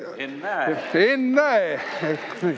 Ennäe!